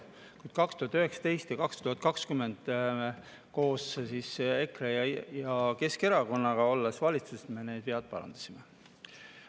Kuid 2019 ja 2020, olles koos EKRE ja Keskerakonnaga valitsuses, me need vead parandasime.